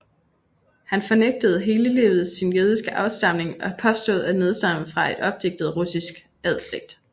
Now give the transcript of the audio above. Han fornægtede hele livet sin jødiske afstamning og påstod at nedstamme fra en opdigtet russisk adelsslægt